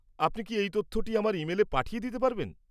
আপনি কি এই তথ্যটি আমার ইমেলে পাঠিয়ে দিতে পারবেন?